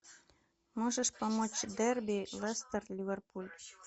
можешь помочь дерби лестер ливерпуль